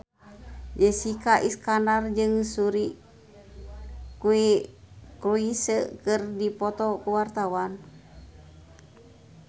Jessica Iskandar jeung Suri Cruise keur dipoto ku wartawan